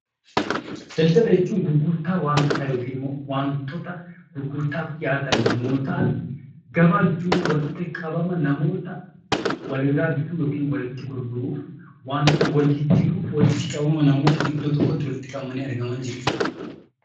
Daldala jechuun gurgurtaa wantootaa yookiin immoo wantoota gurgurtaaf dhiyaatan yommuu ta'an; Gabaa jechuun immoo walitti qabama namoota walirraa bituu yookiin walitti gurguruu, wantoota wal jijjiiruuf, walitti qabama namoota iddoo tokkotti walitti qabamanii argamanii jechuu dha.